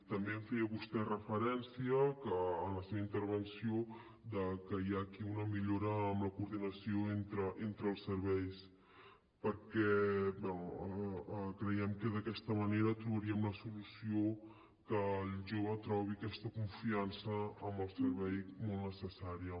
també feia vostè referència en la seva intervenció de que hi ha aquí una millora en la coordinació entre els serveis bé creiem que d’aquesta manera trobaríem la solució perquè el jove trobi aquesta confiança amb el servei molt necessària